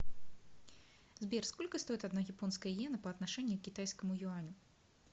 сбер сколько стоит одна японская йена по отношению к китайскому юаню